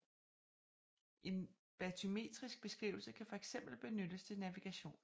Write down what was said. En batymetrisk beskrivelse kan fx benyttes til navigation